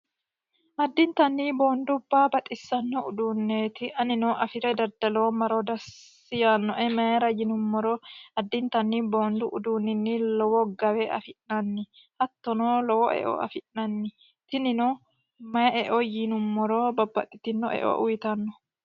addintani boondubbaa baxissanno uduunneeti anino afi're daddalomaro dassi yannoe mayira yinummoro addintanni boondu uduunnini lowo gawe afi'nanni hattono lowo eo afi'nanni tinino mayi eo yiinummoro babbaxxitino eo uyitanno